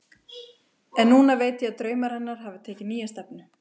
En núna veit ég að draumar hennar hafa tekið nýja stefnu.